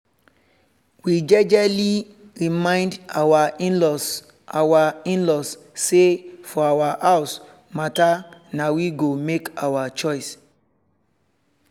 we jejely remind our in-laws our in-laws say for our house matter na we go make our choice